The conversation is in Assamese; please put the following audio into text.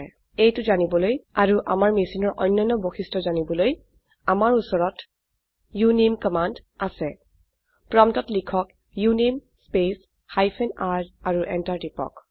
এইটো জানিবলৈ আৰু আমাৰ মেছিনৰ অন্যান্য বৈশিষ্ট্য জানিবলৈ আমাৰ উচৰত উনামে কামাণ্ড আছে প্ৰম্পটত লিখক উনামে স্পেচ হাইফেন r আৰু এন্টাৰ টিপক